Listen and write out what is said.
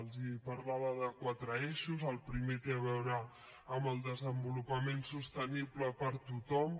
els parlava de quatre eixos el primer té a veure amb el desenvolupament sostenible per a tothom